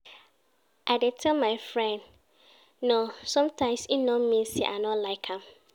I dey tell my friend 'no' sometimes, e no mean sey I no like am.